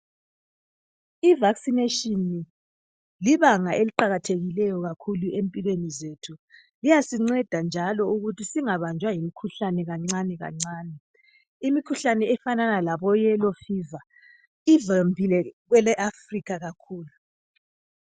Ivasinatshini libanga eliqakathile kakhulu empilweni zethu. Liyasinceda njalo ukuthi singabanjwa ngumkhuhlane kancane kancane. Imikhuhlane efanana labo yelo fiva ivamile kwele Afrikha kakhulu.